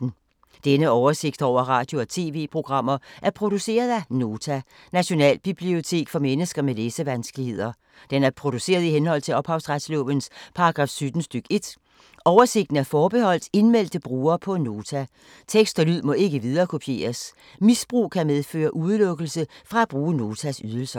Denne oversigt over radio og TV-programmer er produceret af Nota, Nationalbibliotek for mennesker med læsevanskeligheder. Den er produceret i henhold til ophavsretslovens paragraf 17 stk. 1. Oversigten er forbeholdt indmeldte brugere på Nota. Tekst og lyd må ikke viderekopieres. Misbrug kan medføre udelukkelse fra at bruge Notas ydelser.